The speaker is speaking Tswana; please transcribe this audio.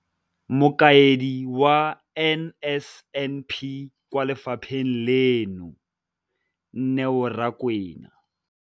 Mokaedi wa NSNP kwa lefapheng leno, Neo Rakwena.